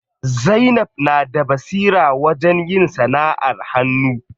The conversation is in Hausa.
Zainab na da basira wajen yin sanaʼar hannu.